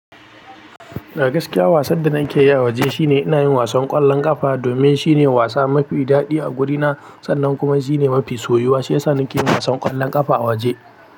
A gaskiya wasan da nake yi a waje shine ina yin wasan ƙwallon ƙafa domin shine wasa mafi daɗi a guri na sannan kuma shine mafi soyuwa. Shiyasa nake yin wasan ƙwallon ƙafa a waje.